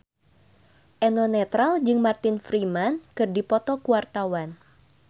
Eno Netral jeung Martin Freeman keur dipoto ku wartawan